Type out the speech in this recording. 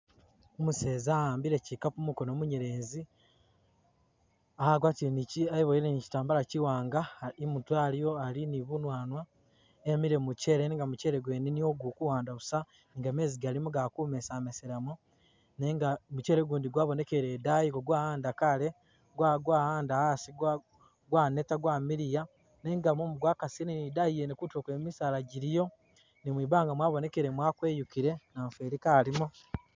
Umuseza a'ambile tsikapu mukono munyelezi ,agwatile ni Kyi eboyele ni Kyitambala kyiwanga imutwe aliwo ali ni bunwanwa emile mumuchele nenga muchele gwene niyo guli kuwanda busa, nga mezi galimo gali kumesameselamo nenga muchele gundi gwabonekele edayi nga gwawanda kale gwa gwawanda asi gwa gwaneta gwamiliya nenga mumu gwakasile ni edayi yene kutulo kwene misaala gyiliyo ni mwibanga mwabonekele mwakweyukile, namufeli kalimo